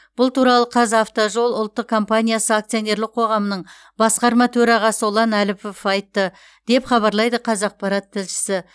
бұл туралы қазавтожол ұлттық компаниясы акционерлік қоғамының басқарма төрағасы ұлан әліпов айтты деп хабарлайды қазақпарат тілшісі